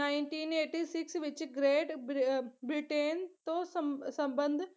nineteen eighty six ਵਿੱਚ great ਬਰ Britain ਤੋਂ ਸੰਬ ਸੰਬੰਧ